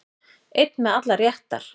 Einn með allar réttar